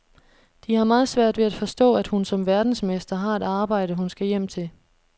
De har meget svært ved at forstå, at hun som verdensmester har et arbejde, hun skal hjem til.